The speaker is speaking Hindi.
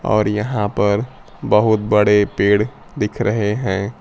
और यहां पर बहुत बड़े पेड़ दिख रहे हैं।